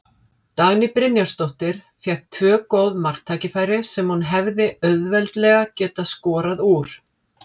Dagný Brynjarsdóttir fékk tvö góð marktækifæri sem hún hefði auðveldlega getað skorað úr.